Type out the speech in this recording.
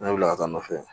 Ne wulila ka taa nɔfɛ